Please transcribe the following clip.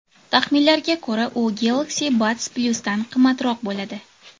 Taxminlarga ko‘ra, u Galaxy Buds+’dan qimmatroq bo‘ladi.